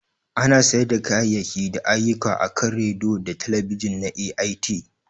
Ana sayar da kayayyaki da ayyuka akan Rediyo da talabijin na AIT